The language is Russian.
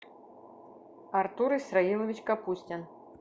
артур исраилович капустин